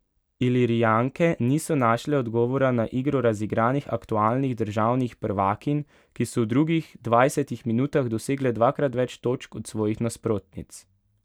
Ilirijanke niso našle odgovora na igro razigranih aktualnih državnih prvakinj, ki so v drugih dvajsetih minutah dosegle dvakrat več točk od svojih nasprotnic.